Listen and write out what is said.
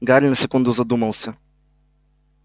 гарри на секунду задумался